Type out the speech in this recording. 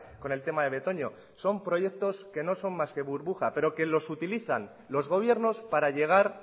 con el tema de betoño son proyectos que no son más que burbuja pero que los utilizan los gobiernos para llegar